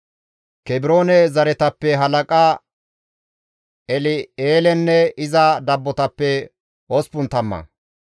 Kebroone zereththatappe halaqa El7eelenne iza dabbotappe osppun tamma;